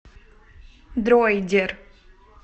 дройдер